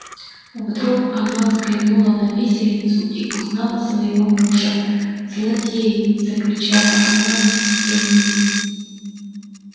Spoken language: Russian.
вдруг она взглянула на виселицу и узнала своего мужа злодеи закричала она в исступлении